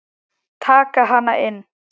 Taka hana inn.